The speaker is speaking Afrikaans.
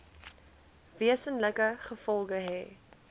wesenlike gevolge hê